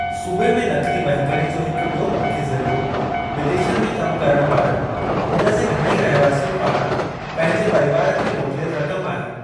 सूबे में नक़दी वहिकरे जो हिकु ॿियो मुख्य ज़रियो विदेशनि में कमु करणु वारनि हुन जे घणेई रहवासियुनि पारां पंहिंजे परिवार खे मोकिलियलु रक़्मु आहे।